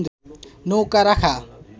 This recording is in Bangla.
নৌকো রাখা